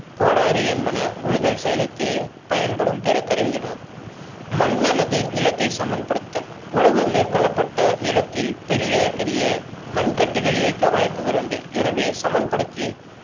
கோடரி என்பன உழுதல் செயலுக்கு பயன்படும் பிற கருவிகலாகும். மண் அளவு நிலத்தை சமன் படுத்தல் உழவு மேற்கொள்ளப்பட்ட நிலத்தில் பெரிய பெரிய மண்கட்டிகள் இருக்க வாய்ப்புகள் உண்டு எனவே சமன் படுத்தய